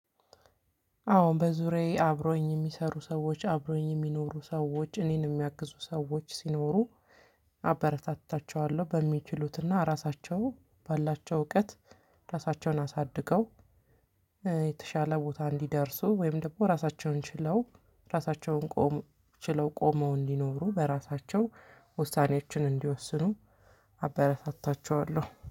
አዎ በዙሪያየ አብረውኝ የሚሰሩ ሰዎች አብረውኝ የሚኖሩ ሰዎች እኔን ሚያግዙ ሰዎች ሲኖሩ አበረታታቸዋለሁ በሚችሉትና ራሳቸው ባላቸው እውቀት ራሳቸውን አሳድገው። የተሻለ ቦታ እንዲደርሱ ወይም ደግሞ ራሳቸውን ችለው ራሳቸውን ቆም ችለው ቆመው እንዲኖሩ በራሳቸው ውሳኔኣችን እንዲወስኑ አበረታታቸዋለሁ